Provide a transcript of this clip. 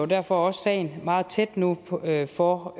derfor også sagen meget tæt nu for at få